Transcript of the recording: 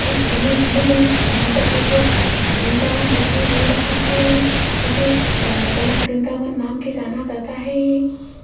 इस इमेज मे यहां पर एक बृंदावन दिखाई दे रहा है जिसे अ कनक वृंदावन नाम के जाना जाता है।